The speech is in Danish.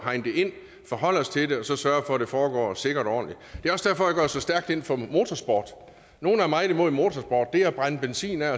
hegne det ind forholde os til det og så sørge for at det foregår sikkert og så stærkt ind for motorsport nogle er meget imod motorsport det er at brænde benzinen af